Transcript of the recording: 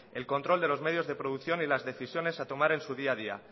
el control de los medios de producción y las decisiones a tomar en su día a día